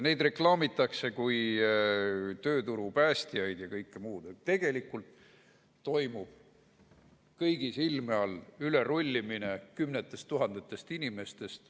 Neid reklaamitakse kui tööturu päästjaid ja kõike muud, aga tegelikult toimub kõigi silme all ülerullimine kümnetest tuhandetest inimestest.